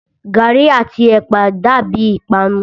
Gàrí àti ẹ̀pà dàbíi ìpanu.